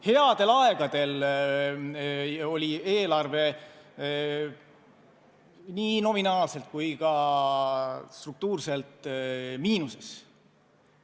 Headel aegadel oli eelarve nii nominaalselt kui ka struktuurselt miinuses.